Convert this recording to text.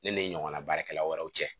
Ne ni ɲɔgɔnna baarakɛla wɛrɛw cɛ